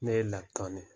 Ne ye lakana ye